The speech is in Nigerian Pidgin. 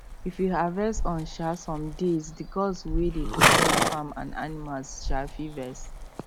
if you harvest on um some days the gods wey dey protect farm and animals um fit vex